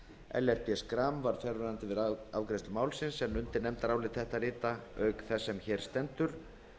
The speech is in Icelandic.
ellert b schram var fjarverandi við afgreiðslu málsins en undir nefndarálit þetta rita auk þess sem hér stendur